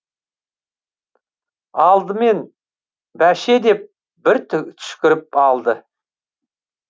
алдымен баше деп бір түшкіріп алды